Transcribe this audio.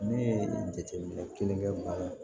Ne ye jateminɛ kelen kɛ baara ye